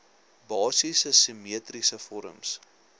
basiese simmetriese vorms